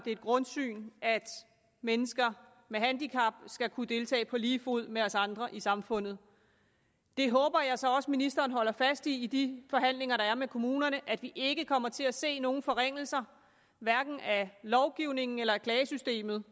grundsyn at mennesker med handicap skal kunne deltage på lige fod med os andre i samfundet det håber jeg så også at ministeren holder fast i i de forhandlinger der er med kommunerne at vi ikke kommer til at se nogen forringelser hverken af lovgivningen eller af klagesystemet